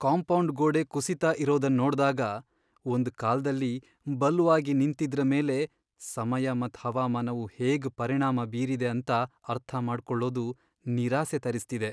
Compound ಗೋಡೆ ಕುಸಿತಾ ಇರೋದನ್ ನೋಡ್ದಾಗ, ಒಂದ್ ಕಾಲ್ದಲ್ಲಿ ಬಲ್ವಾಗಿ ನಿಂತಿದ್ರ ಮೇಲೆ ಸಮಯ ಮತ್ ಹವಾಮಾನವು ಹೇಗ್ ಪರಿಣಾಮ ಬೀರಿದೆ ಅಂತ ಅರ್ಥ ಮಾಡ್ಕೊಳ್ಳೋದು ನಿರಾಸೆ ತರಿಸ್ತಿದೆ.